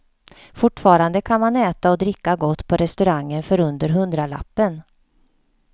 Fortfarande kan man äta och dricka gott på restaurangen för under hundralappen.